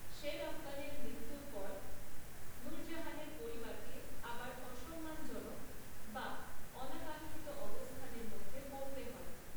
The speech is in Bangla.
শের আফগানের মৃত্যুর পর নুরজাহানের পরিবারকে আবার অসম্মানজনক বা অনাকাঙ্ক্ষিত অবস্থানের মধ্যে পড়তে হয়।